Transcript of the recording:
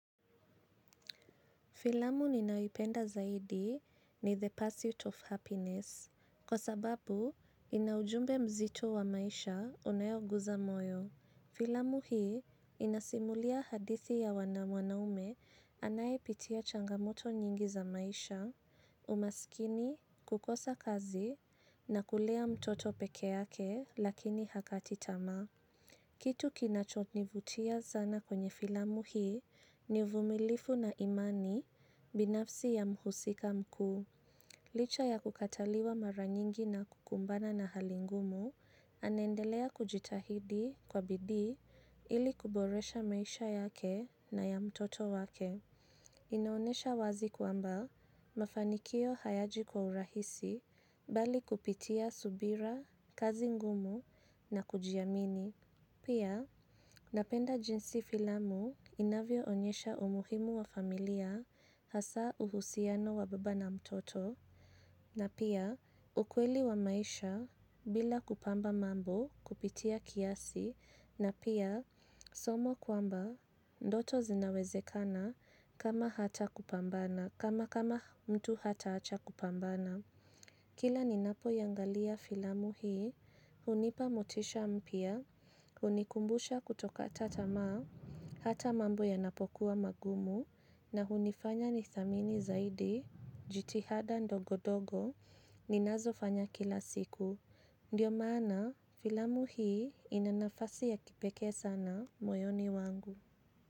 Filamu ninayoipenda zaidi ni the pursuit of happiness, kwa sababu inaujumbe mzito wa maisha unaoguza moyo. Filamu hii inasimulia hadithi ya mwanaume anayepitia changamoto nyingi za maisha, umasikini, kukosa kazi na kulea mtoto peke yake lakini hakati tamaa. Kitu kinacho nivutia sana kwenye filamu hii ni uvumilivu na imani binafsi ya mhusika mkuu. Licha ya kukataliwa mara nyingi na kukumbana na hali ngumu anaendelea kujitahidi kwa bidii ili kuboresha maisha yake na ya mtoto wake. Ina onyesha wazi kwamba mafanikio hayaji kwa urahisi bali kupitia subira, kazi ngumu na kujiamini. Pia napenda jinsi filamu inavyo onyesha umuhimu wa familia hasa uhusiano wa baba na mtoto. Na pia ukweli wa maisha bila kupamba mambo kupitia kiasi na pia somo kwamba ndoto zinawezekana kama hata kupambana kama mtu hataacha kupambana. Kila ni napo iangalia filamu hii, hunipa motisha mpya, hunikumbusha kutokata tamaa, hata mambo yanapokuwa mangumu, na hunifanya ni thamini zaidi, jitihada ndogo ndogo, ninazo fanya kila siku. Ndiyo maana, filamu hii ina nafasi ya kipeke sana moyoni wangu.